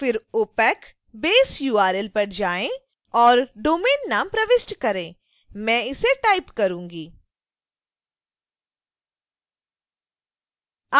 फिर opacbaseurl पर जाएँ और डोमेन नाम प्रविष्ट करें मैं इसे टाइप करूंगी